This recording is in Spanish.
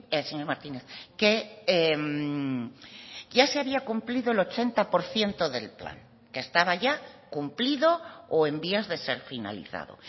el señor martínez que ya se había cumplido el ochenta por ciento del plan que estaba ya cumplido o en vías de ser finalizado